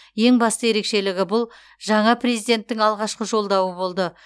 ең басты ерекшелігі бұл жаңа президенттің алғашқы жолдауы болды